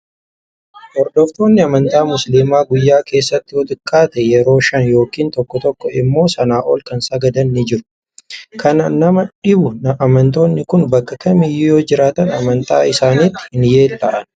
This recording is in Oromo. Hordoftoonni amantaa musliimaa guyyaa keessatti yoo xiqqaate yeroo Shan yookiin tokko tokko immoo Sanaa ol kan sagadan ni jiru. Kan nama dhibu amantoonni Kun bakka kamiyyuu yoo jiraatan amantaa isaaniitti hin yeella'an